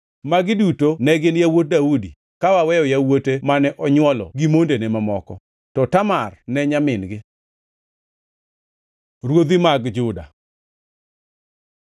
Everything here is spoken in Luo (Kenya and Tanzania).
Magi duto ne gin yawuot Daudi, ka waweyo yawuote mane onywolo gi mondene mamoko. To Tamar ne nyamin-gi. Ruodhi mag Juda